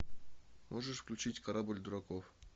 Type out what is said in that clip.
можешь включить корабль дураков